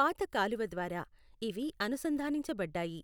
పాత కాలువ ద్వారా ఇవి అనుసంధానించబడ్డాయి.